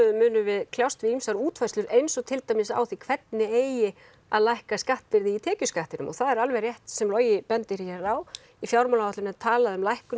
munum við kljást við ýmsar útfærslur eins og til dæmis á því hvernig eigi að lækka skattbyrði í tekjuskattinum og það er alveg rétt sem Logi bendir á í fjármálaáætlun er talað um lækkun